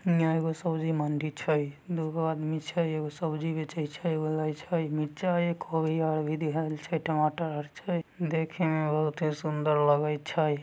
यहां एगो सब्जी मंडी छै दुगो आदमी छै एगो सब्जी बेचे छै। एगो लेय छै मिर्चा आर कोभी आर दिखैल छै टमाटर आर छै। देखे में बहुते सुंदर लगे छै ।